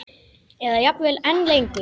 Eða jafnvel enn lengur.